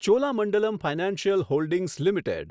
Cholamandalam financial holdings limited